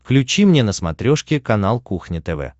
включи мне на смотрешке канал кухня тв